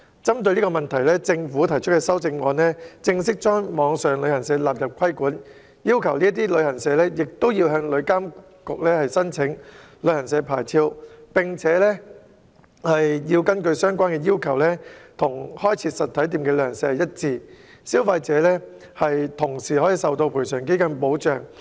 針對這個問題，政府提出的修正案將網上旅行社納入規管，要求該等旅行社亦要向旅監局申請旅行社牌照，相關要求與開設實體店的旅行社一致，消費者也會受到旅遊業賠償基金的保障。